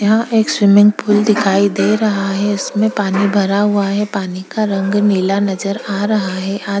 यहाँ एक swimming pool दिखाई दे रहा है इसमें पानी भरा हुआ है पानी का रंग नीला नजर आ रहा है आद --